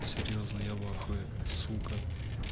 серьёзно я в ахуе сука